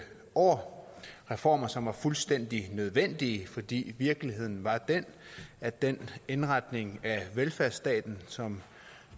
år reformer som var fuldstændig nødvendige fordi virkeligheden var den at den indretning af velfærdsstaten som